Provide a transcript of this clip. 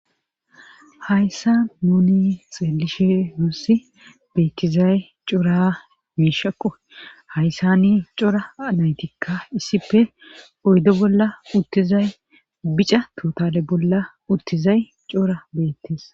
hayssa nuni xeelishe nussi beettizay cora miishakko hayssani cora naytikka issipe oydo bolla uttizay bica totale bolla uttizay cora beettes